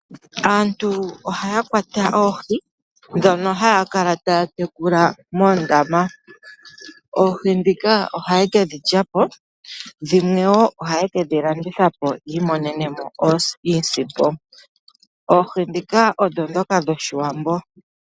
Aantu ohaya kwata oohi ndhono haya kala taya tekula moondama. Oohi ndhika ohaye kedhi lya po dhimwe wo ohaye kedhi landitha po yi imonene mo iisimpo. Oohi ndhika odho ndhoka dhoshiwambo.